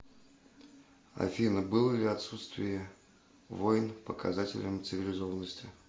афина было ли отсутствие войн показателем цивилизованности